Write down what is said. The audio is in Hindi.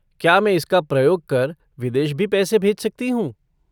क्या मैं इसका प्रयोग कर विदेश भी पैसे भेज सकती हूँ?